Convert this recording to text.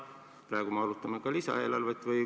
Praegu me arutame ka lisaeelarvet.